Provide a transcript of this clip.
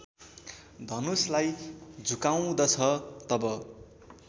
धनुषलाई झुकाउँदछ तब